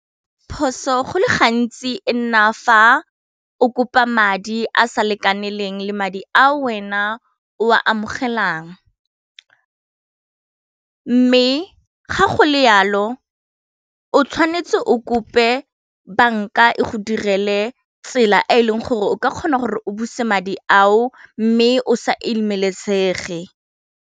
Phoso go le gantsi e nna fa o kopa madi a sa lekanelang le madi a wena o a amogelang, mme ga go le yalo o tshwanetse o kope banka e go direle tsela e e leng gore o ka kgona gore o buse madi ao mme o sa imelesege.